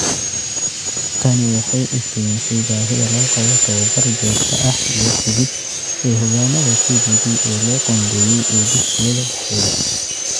Tani waxay iftiimisay baahida loo qabo tabobar joogto ah iyo hagid ee hogaanada TPD ee loo qoondeeyay ee dugsiyada dhexdooda.